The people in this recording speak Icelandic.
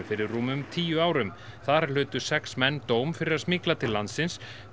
fyrir rúmum tíu árum þar hlutu sex menn dóm fyrir að smygla til landsins